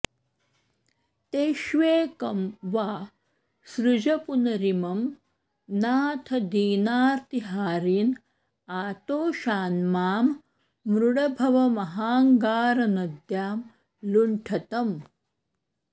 तेष्वेकं वा सृज पुनरिमं नाथ दीनार्त्तिहारिन् आतोषान्मां मृड भवमहाङ्गारनद्यां लुठन्तम्